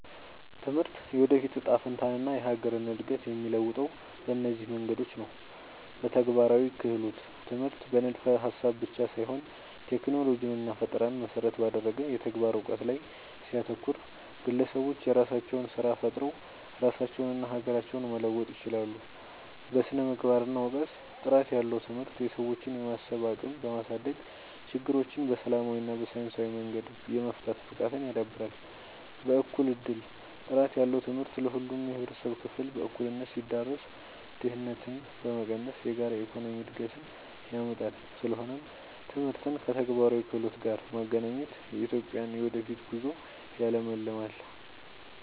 ትምህርት የወደፊት እጣ ፈንታንና የሀገርን እድገት የሚለውጠው በእነዚህ መንገዶች ነው፦ በተግባራዊ ክህሎት፦ ትምህርት በንድፈ-ሀሳብ ብቻ ሳይሆን ቴክኖሎጂንና ፈጠራን መሰረት ባደረገ የተግባር እውቀት ላይ ሲያተኩር፣ ግለሰቦች የራሳቸውን ስራ ፈጥረው ራሳቸውንና ሀገራቸውን መለወጥ ይችላሉ። በስነ-ምግባርና እውቀት፦ ጥራት ያለው ትምህርት የሰዎችን የማሰብ አቅም በማሳደግ፣ ችግሮችን በሰላማዊና በሳይንሳዊ መንገድ የመፍታት ብቃትን ያዳብራል። በእኩል እድል፦ ጥራት ያለው ትምህርት ለሁሉም የህብረተሰብ ክፍል በእኩልነት ሲዳረስ፣ ድህነትን በመቀነስ የጋራ የኢኮኖሚ እድገትን ያመጣል። ስለሆነም ትምህርትን ከተግባራዊ ክህሎት ጋር ማገናኘት የኢትዮጵያን የወደፊት ጉዞ ያለምልማል።